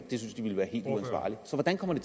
de synes ville være helt uansvarligt så hvordan kommer